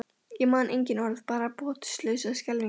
Ég man engin orð, bara botnlausa skelfingu.